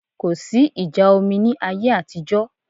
Kò sí ìjà omi ní ayé àtijọ́